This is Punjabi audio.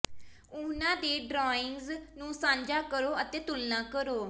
ਉਹਨਾਂ ਦੇ ਡਰਾਇੰਗਸ ਨੂੰ ਸਾਂਝਾ ਕਰੋ ਅਤੇ ਤੁਲਨਾ ਕਰੋ